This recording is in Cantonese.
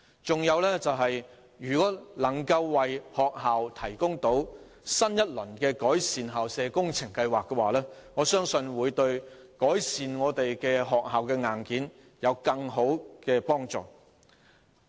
此外，如果政府能為學校推行新一輪的"改善校舍工程計劃"，我相信對改善學校的硬件會有更大的幫助。